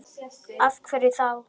Af hverju þá?